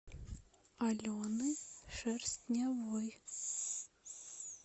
алены шерстневой